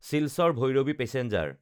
চিলচাৰ–ভৈৰৱী passenger